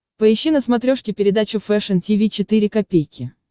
поищи на смотрешке передачу фэшн ти ви четыре ка